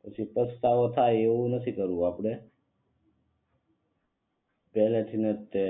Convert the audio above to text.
પછી પછતાવો થાય એવું નથી કરવું આપડે પેહલેથી ન જ તે